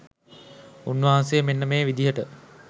උන්වහන්සේ මෙන්න මේ විදිහට